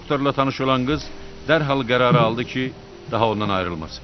Doktorla tanış olan qız dərhal qərarı aldı ki, daha ondan ayrılmasın.